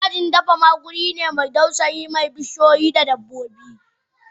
Dajin fadama wuri ne mai dausayi mai bishiyoyi da dabbobi.